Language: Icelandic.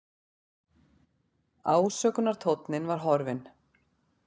Ásökunartónninn var horfinn.